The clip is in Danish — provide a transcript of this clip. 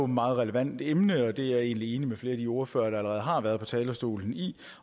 meget relevant emne det er jeg egentlig enig med flere af de ordførere der allerede har været på talerstolen i